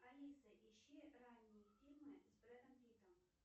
алиса ищи ранние фильмы с брэдом питтом